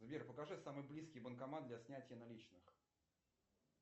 сбер покажи самый близкий банкомат для снятия наличных